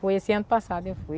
Foi esse ano passado, eu fui.